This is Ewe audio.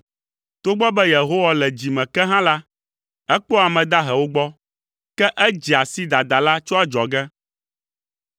Togbɔ be Yehowa le dzi me ke hã la, ekpɔa ame dahewo gbɔ, ke edzea si dadala tso adzɔge.